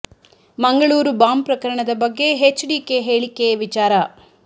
Mangaluru bomb ಪ್ರಕರಣ ದ ಬಗ್ಗೆ ಹೆಚ್ ಡಿ ಕೆ ಹೇಳಿಕೆ ವಿಚಾರ